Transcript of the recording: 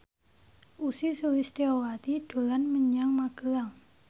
Ussy Sulistyawati dolan menyang Magelang